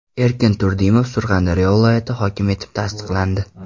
Erkin Turdimov Surxondaryo viloyati hokimi etib tasdiqlandi.